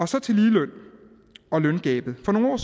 så til ligeløn og løngabet for nogle år